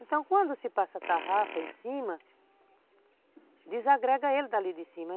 Então, quando se passa a tarrafa em cima, desagrega ele dali de cima.